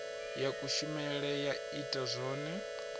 ya kushemele ya ita zwone